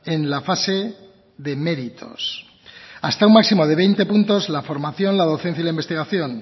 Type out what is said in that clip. en la fase de méritos hasta un máximo de veinte puntos la formación la docencia y la investigación